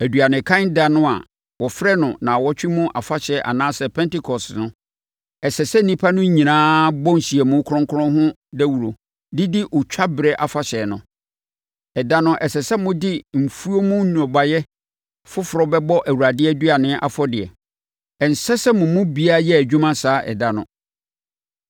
“ ‘Aduanekan ɛda no a wɔfrɛ no Nnawɔtwe mu Afahyɛ anaasɛ Pentekoste no, ɛsɛ sɛ nnipa no nyinaa bɔ nhyiamu kronkron ho dawuro de di Otwa berɛ Afahyɛ no. Ɛda no, ɛsɛ sɛ mode mo mfuo mu nnɔbaeɛ foforɔ bɛbɔ Awurade aduane afɔdeɛ. Ɛnsɛ sɛ mo mu biara yɛ adwuma saa ɛda no.